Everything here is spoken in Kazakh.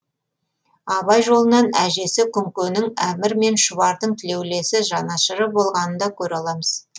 абай жолынан әжесі күңкенің әмір мен шұбардың тілеулесі жанашыры болғанын да көре аламыз